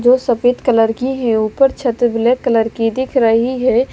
जो सफेद कलर की है ऊपर छत ब्लैक कलर की दिख रही है।